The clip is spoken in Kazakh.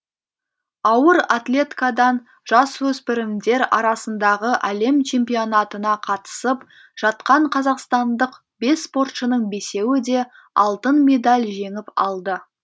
ауыр атлеткадан жасөспірімдер арасындағы әлем чемпионатына қатысып жатқан қазақстандық бес спортшының бесеуі де алтын медаль жеңіп алды